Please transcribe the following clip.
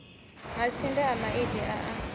matsinde a maiti a a